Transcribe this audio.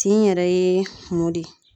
Tin yɛrɛ ye mun de ye?